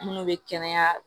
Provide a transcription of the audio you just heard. Minnu bɛ kɛnɛya